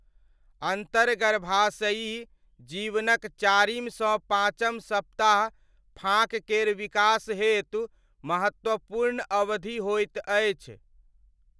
अन्तर्गर्भाशयी जीवनक चारिमसँ पाँचम सप्ताह फाँक केर विकास हेतु महत्वपूर्ण अवधि होइत अछि।